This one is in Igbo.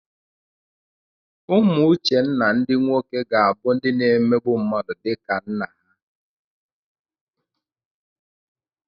Ụmụ Uchenna ndị nwoke ga-abụ ndị na-emegbu mmadụ dịka nna ha.